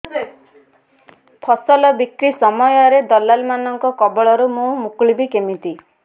ଫସଲ ବିକ୍ରୀ ସମୟରେ ଦଲାଲ୍ ମାନଙ୍କ କବଳରୁ ମୁଁ ମୁକୁଳିଵି କେମିତି